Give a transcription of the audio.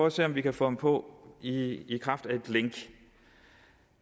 at se om vi kan få ham på i i kraft af et link